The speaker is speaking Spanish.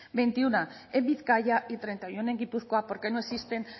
veintiuno en bizkaia y treinta y uno en gipuzkoa porque no existen